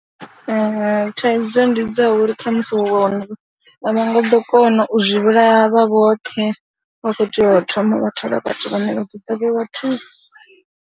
Thaidzo ndi dza uri kha musi wa wana uri a vha nga ḓo kona u zwi vhulaha vhoṱhe, vha khou tea u thoma vha thola vhathu vhane vha ḓo ḓa vha vha thusa.